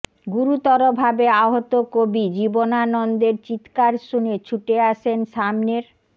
গুরুতরভাবে আহত কবি জীবনানন্দের চিৎকার শুনে ছুটে আসেন সামনের